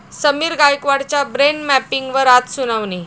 समीर गायकवाडच्या 'ब्रेन मॅपिंग'वर आज सुनावणी